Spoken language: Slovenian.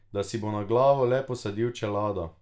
Da si bo na glavo le posadil čelado ...